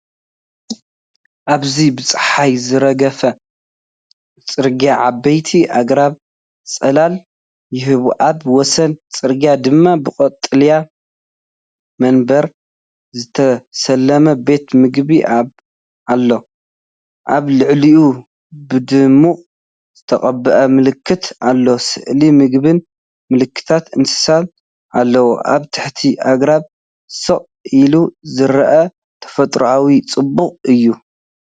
ኣብዚ ብጸሓይ ዝረገፈ ጽርግያ ዓበይቲ ኣግራብ ጽላል ይህቡ። ኣብ ወሰን ጽርግያ ድማ ብቐጠልያ መንበር ዝተሰለመ ቤት ምግቢ ኣሎ። ኣብ ልዕሊኡ ብድሙቕ ዝተቐብአ ምልክት ኣሎ፣ ስእሊ ምግብን ምልክታት እንስሳን ኣለዎ። ኣብ ትሕቲ ኣግራብ ስቕ ኢሉ ዝረአ ተፈጥሮኣዊ ጽባቐ እዩ።